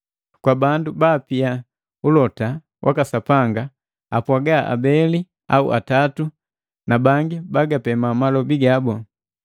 Kwa bandu baabi apia ulota waka Sapanga, apwaga abeli au atatu na bangi bagapema malobi gabu.